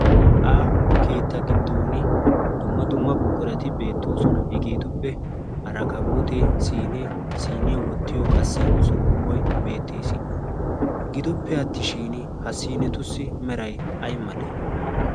aaho keetta giddon dumma dumma buqirati beettoosona hegeetuppe arakabootee siinee siiniyaa wottiyo qassi sukku boi beettees gidoppe attishin ha siinetussi meray ay malee?